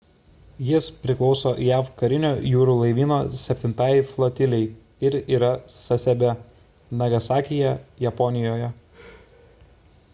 jis priklauso jav karinio jūrų laivyno septintajai flotilei ir yra sasebe nagasakyje japonijoje